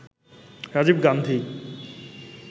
Rajib Gandhi